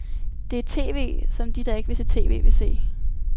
Det er tv, som de der ikke vil se tv, vil se.